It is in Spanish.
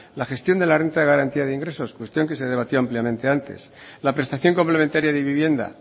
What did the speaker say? la gestión de la renta de garantía de ingresos cuestión que se debatió ampliamente antes la prestación complementaria de vivienda